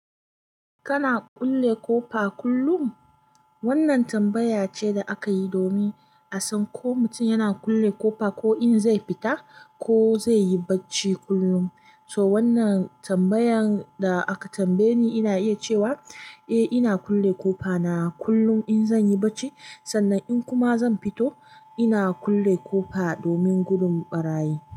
Kana kulle ƙofa kullum? Wannan tambaya ce da aka yi domin a san ko mutum yana kulle ƙofa, ko in zai fita ko zai yi bacci kullum. So wannan tambayan da aka tambaye ni, ina iya cewa eh, ina kulle ƙofa na kullum in zan yi bacci. Sannan in kuma zan fito, ina kulle ƙofa domin gudun ɓarayi.